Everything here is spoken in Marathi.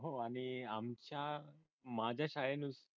आणि आमच्या माझ्या शाळेने